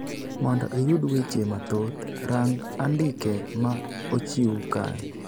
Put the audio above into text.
Mondo iyud weche mathoth, rang' andike ma ochiw kae.